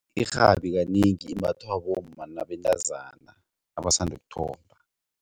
Irhabi kanengi imbathwa bomma nabentazana abasanda ukuthomba.